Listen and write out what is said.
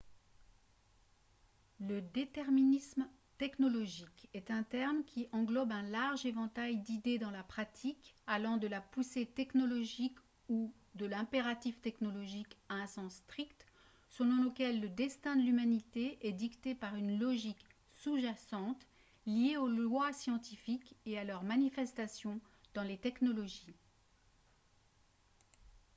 le déterminisme technologique est un terme qui englobe un large éventail d'idées dans la pratique allant de la poussée technologique ou de l'impératif technologique à un sens strict selon lequel le destin de l'humanité est dicté par une logique sous-jacente liée aux lois scientifiques et à leur manifestation dans les technologies